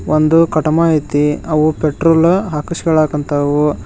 ಒಂದು ಕಟ್ ಮಾಹಿತಿ ಅವುಗಳು ಪೆಟ್ರೋಲ್ ಹಾಕ್ಸುಲೋಕ್ ಕುಂತವು.